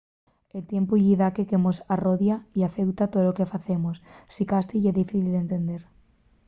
el tiempu ye daqué que mos arrodia y afeuta tolo que facemos. sicasí ye difícil d’entender